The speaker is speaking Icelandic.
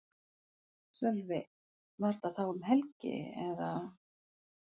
Sölvi: Var þetta þá um helgi eða?